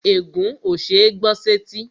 Ègún ó ṣeé gbọ́ sẹ́tí